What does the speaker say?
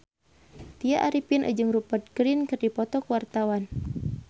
Tya Arifin jeung Rupert Grin keur dipoto ku wartawan